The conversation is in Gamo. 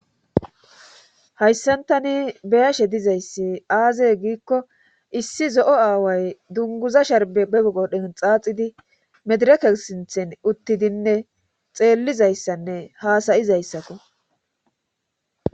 hayssantani beyashe dizayssi aaze giikko issi zo7o aaway dunguza sharb begodhen xaaxidi medereke sinthen uttidinne xeellizayssanne haasayizayssakko